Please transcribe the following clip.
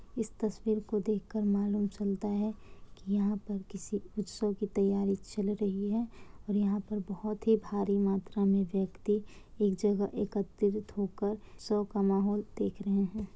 इस तस्वीर को देख कर मालूम चलता है कि यहां पर किसी उत्सव की तैयारी चल रही है और यहां पर बहुत ही भारी मात्रा मे व्यक्ति एक जगह एकत्रित होकर शो का माहौल देख रहे है।